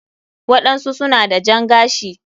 waɗansu suna da jan gashi.